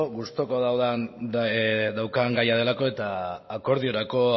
gustuko dudan gaia delako eta akordiorako